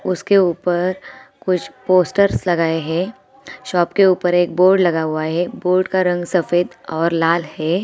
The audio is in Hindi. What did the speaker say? उसके ऊपर कुछ पोस्टर्स लगाए है| शॉप के उपर एक बोर्ड लगा हुआ है| बोर्ड का रंग सफ़ेद और लाल है।